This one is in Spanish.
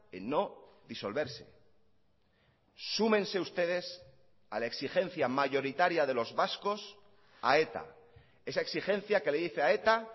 en no disolverse súmense ustedes a la exigencia mayoritaria de los vascos a eta esa exigencia que le dice a eta